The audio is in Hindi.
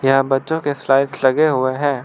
यहां बच्चों के स्लाइड्स लगे हुए हैं।